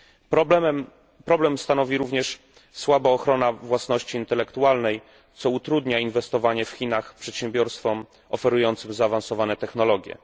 Problem stanowi również słaba ochrona własności intelektualnej, co utrudnia inwestowanie w Chinach przedsiębiorstwom oferującym zaawansowane technologie.